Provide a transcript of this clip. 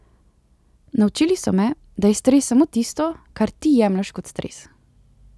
Naučili so me, da je stres samo tisto, kar ti jemlješ kot stres.